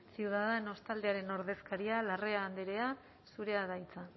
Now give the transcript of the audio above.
ciudadanos taldearen ordezkaria larrea andrea zurea da hitza